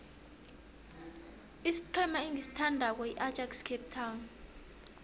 isiqhema engisithandako yiajax cape town